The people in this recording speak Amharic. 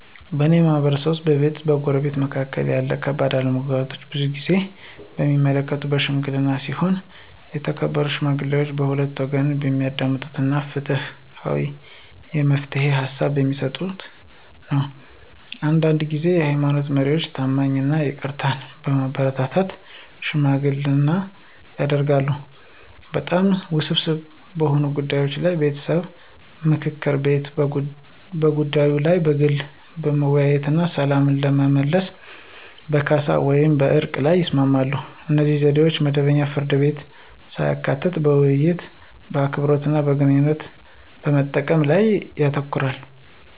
በእኔ ማህበረሰብ ውስጥ፣ በቤተሰብ ወይም በጎረቤቶች መካከል ያሉ ከባድ አለመግባባቶች ብዙውን ጊዜ የሚፈቱት በሺምግሊና ሲሆን የተከበሩ ሽማግሌዎች ሁለቱንም ወገኖች የሚያዳምጡ እና ፍትሃዊ የመፍትሄ ሃሳብ በሚሰጡበት ነው። አንዳንድ ጊዜ የሃይማኖት መሪዎች ታማኝነትን እና ይቅርታን በማበረታታት ሽምግልና ያደርጋሉ። በጣም ውስብስብ በሆኑ ጉዳዮች ላይ የቤተሰብ ምክር ቤቶች በጉዳዩ ላይ በግል ለመወያየት እና ሰላምን ለመመለስ በካሳ ወይም በዕርቅ ላይ ይስማማሉ. እነዚህ ዘዴዎች መደበኛ ፍርድ ቤቶችን ሳያካትቱ በውይይት፣ በአክብሮት እና ግንኙነቶችን በመጠበቅ ላይ ያተኩራሉ።